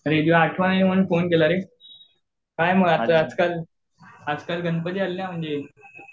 अरे तुझी आठवण आली म्हणून फोन केला रे. काय मग आता आजकाल आजकाल गणपती आलेना म्हणजे